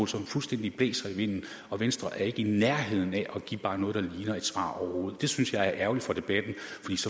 som fuldstændig blæser i vinden og venstre er ikke i nærheden af at give bare noget der ligner et svar overhovedet det synes jeg er ærgerligt for debatten